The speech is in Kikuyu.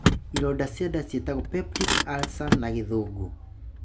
Ironda cia nda ciĩtagwo Peptic Ulcer na gĩthũngũ.